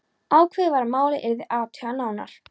Ákveðið var að málið yrði athugað nánar.